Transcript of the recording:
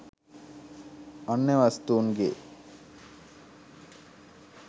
අන්‍ය වස්තූන් ගේ